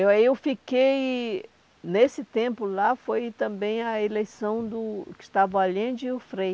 Aí eu fiquei... Nesse tempo lá foi também a eleição do Gustavo Allende e o Frei.